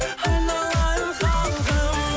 айналайын халқым